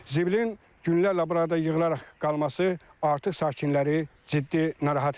Ziblin günlərlə burada yığılaraq qalması artıq sakinləri ciddi narahat edir.